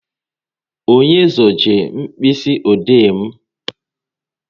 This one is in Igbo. Onye zuje mkpịsị ode m?